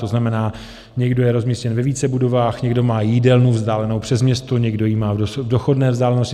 To znamená, někdo je rozmístěn ve více budovách, někdo má jídelnu vzdálenou přes město, někdo ji má v dochodné vzdálenosti.